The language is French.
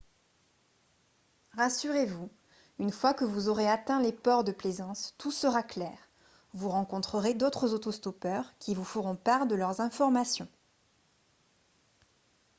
rassurez-vous une fois que vous aurez atteint les ports de plaisance tout sera clair vous rencontrerez d'autres auto-stoppeurs qui vous feront part de leurs informations